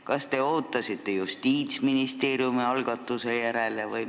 Kas te ootasite Justiitsministeeriumi järel?